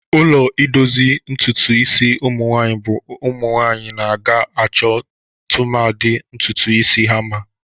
Ụlọ idozi ntụtụ isi umụnwanyị bụ ụmụnwanyị na-aga achọ, tụmadị, ntụtụ isi ha mma.